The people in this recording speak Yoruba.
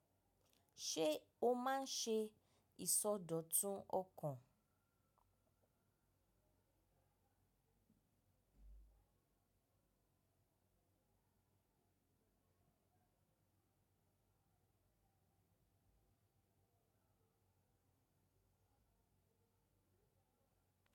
Ṣé o máa ń ṣe ìsọdọ̀tun ọkàn?